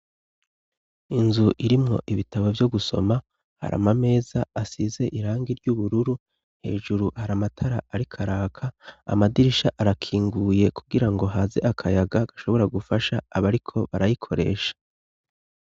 Inzu irimwo ibitabo vyo gusoma ,har'amameza asize irangi ry'ubururu, hejuru har' amatara ariko araka. Amadirisha arakinguye kugira ngo haze akayaga gashobora gufasha aba ariko barayikoresha.